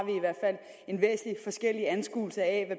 en væsentlig forskellig anskuelse af